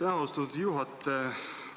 Aitäh, austatud juhataja!